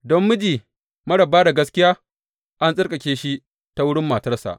Don miji marar ba da gaskiya an tsarkake shi ta wurin matarsa.